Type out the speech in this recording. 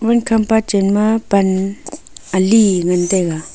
wal kampa chenma pan ali ngan taiga.